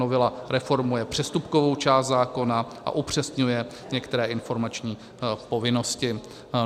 Novela reformuje přestupkovou část zákona a upřesňuje některé informační povinnosti.